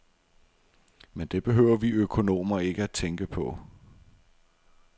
Men det behøver vi økonomer ikke tænke på.